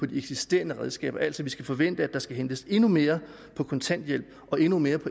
de eksisterende redskaber altså at vi skal forvente at der skal hentes endnu mere på kontanthjælp og endnu mere på